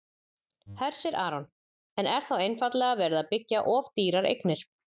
Hersir Aron: En er þá einfaldlega verið að byggja of dýrar eignir?